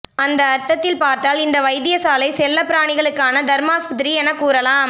அந்த அர்த்தத்தில் பார்த்தால் இந்த வைத்தியசாலை செல்லப்பிராணிகளுக்கான தருமாஸ்பத்திரி எனக் கூறலாம்